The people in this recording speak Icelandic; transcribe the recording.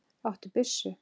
Áttu byssu?